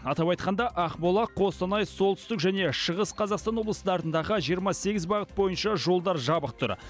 атап айтқанда ақмола қостанай солтүстік және шығыс қазақстан облыстарындағы жиырма сегіз бағыт бойынша жолдар жабық тұр